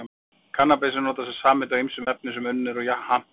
Kannabis er notað sem samheiti á ýmsum efnum sem unnin eru úr hampjurtinni